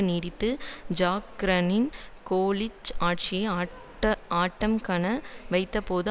நீடித்து ஜாக் சிராக்கின் கோலிச ஆட்சியை அட்ட ஆட்டம்காண வைத்தபோது